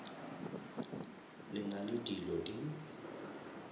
le na le dilo di